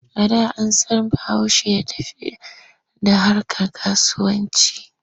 A da an san Bahaushe da iya tafiyar da harkar kasuwanci.